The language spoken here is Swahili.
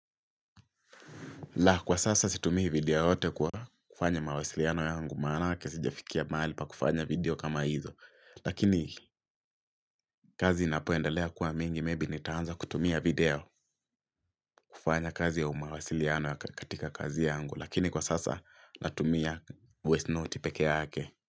La kwa sasa situmii video yoyote kwa kufanya mawasiliano yangu Manake sijafikia mali pa kufanya video kama hizo Lakini kazi inapoendelea kuwa mingi Maybe nitaanza kutumia video kufanya kazi ya mawasiliano katika kazi yangu Lakini kwa sasa natumia voice note pekee yake.